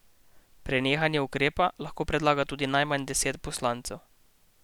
Prenehanje ukrepa lahko predlaga tudi najmanj deset poslancev.